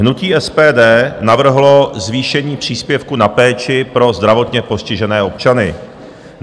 Hnutí SPD navrhlo zvýšení příspěvku na péči pro zdravotně postižené občany.